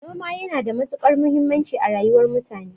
Noma yana da matukar muhimmanci a rayuwar mutane